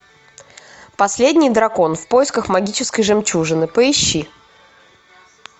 последний дракон в поисках магической жемчужины поищи